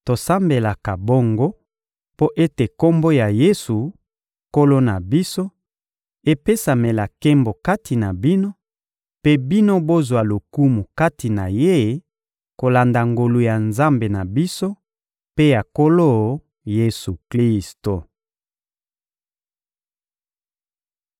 Tosambelaka bongo mpo ete Kombo ya Yesu, Nkolo na biso, epesamela nkembo kati na bino, mpe bino bozwa lokumu kati na Ye kolanda ngolu ya Nzambe na biso mpe ya Nkolo Yesu-Klisto.